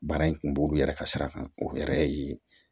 Baara in kun b'o olu yɛrɛ ka sira kan o yɛrɛ ye